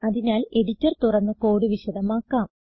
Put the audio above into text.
അതിനാൽ എഡിറ്റർ തുറന്ന് കോഡ് വിശദമാക്കാം